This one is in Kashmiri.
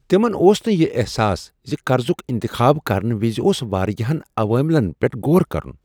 تمن اوس نہٕ یہ احساس ز قرضک انتخاب کرنہٕ وز اوٚس واریاہن عوامل پٮ۪ٹھ غور کرن۔